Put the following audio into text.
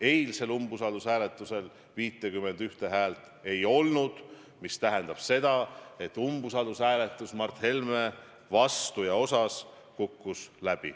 Eilsel umbusaldushääletusel 51 häält ei olnud, mis tähendab seda, et umbusaldushääletus Mart Helme vastu kukkus läbi.